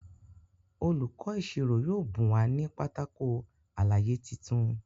Olùkó ìṣirò yóò bùn wa ní Pátákó àlàyé títún.